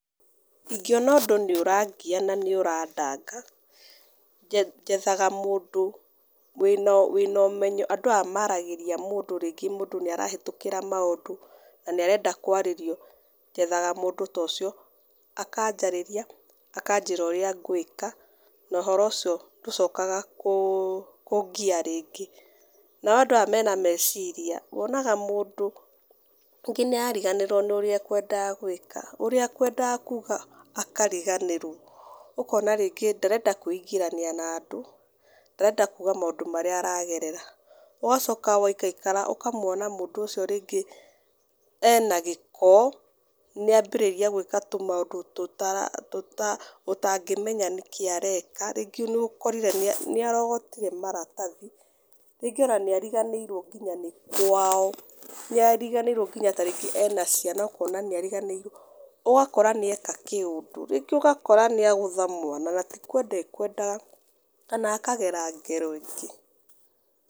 Ingĩona ũndũ nĩũrangia na nĩũrandanga, njethaga mũndũ wĩna wĩna ũmenyo andũ aya maragĩria mũndũ rĩngĩ mũndũ nĩarahetũkĩra maũndũ, na nĩarenda kwarĩrio, njethaga mũndũ ta ũcio, akanjarĩria, akanjĩra ũrĩa ngwĩka, na ũhoro ũcio ndũcokaga kũ kũngĩa rĩngĩ. Nao andũ aya mena meciria, wonaga mũndũ rĩngĩ nĩarariganĩrwo nĩũrĩa akwendaga gwĩka. Ũrĩa akwendaga kuga akariganĩrwo. Ũkona rĩngĩ ndarenda kũingĩrania na andũ, ndarenda kuga maũndũ marĩa aragerera. Ũgacoka waikarakara ũkamwona mũndũ ũcio rĩngĩ ena gĩko, nĩambĩrĩria gwĩka tũmaũndũ tũtara tũta ũtangĩmenya nĩkĩ areka, rĩngĩ nĩũkorire nĩarogotire maratathi, rĩngĩ ona nĩariganĩirwo nginya nĩ kwao, nĩariganĩirwo nginya tarĩngĩ ena ciana, ũkona nĩariganĩirwo, ũgakora nĩeka kĩũndũ. Rĩngĩ ũgakora nĩagũtha mwana na tikwenda akwendaga, kana akagero ngero ingĩ.